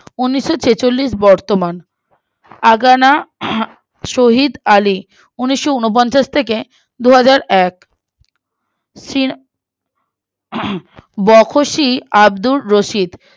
উনিসছেচল্লিশ-বর্তমান আগানা আহ শহীদ আলি উনিশোউনপঞ্চাস থেকে দুহাজারএক উম বখশি আব্দুল রসিদ